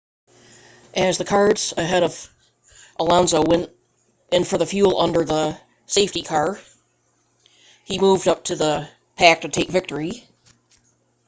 as the cars ahead of alonso went in for fuel under the safety car he moved up the pack to take victory